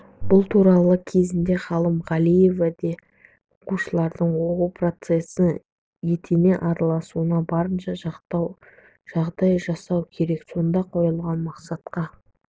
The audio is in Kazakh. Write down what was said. бұл туралы кезінде ғалым галиев те оқушылардың оқу процесіне етене араласуына барынша жағдай жасау керек сонда қойылған мақсатқа